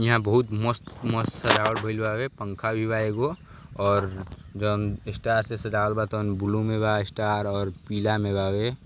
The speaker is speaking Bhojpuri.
यहां बोहोत मस्त मस्त सजावट भईल बावे। पंखा भी बा एगो और जौन स्टार से सजावल बा तौन ब्लू में बा स्टार और पीला में बावे।